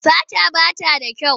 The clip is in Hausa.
Sata ba ta da kyau.